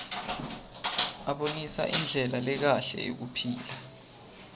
abonisa indlela lekahle yekuphila